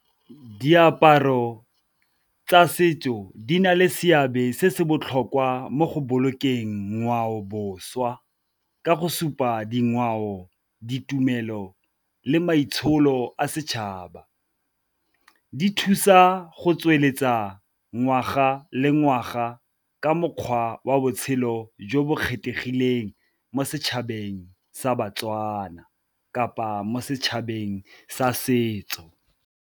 Diaparo tsa setso di na le seabe se se botlhokwa mo go bolokeng ngwao boswa, ka go supa dingwao, ditumelo le maitsholo a setšhaba. Di thusa go tsweletsa ngwaga le ngwaga ka mokgwa wa botshelo jo bo kgethegileng mo setšhabeng sa baTswana, kapa mo setšhabeng sa setso.